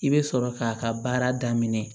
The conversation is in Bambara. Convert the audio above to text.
I bɛ sɔrɔ k'a ka baara daminɛ